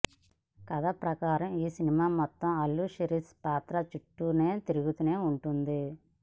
కథ ప్రకారం ఈ సినిమా మొత్తం అల్లు శిరీష్ పాత్ర చుట్టూనే తిరుగుతూ ఉంటుంది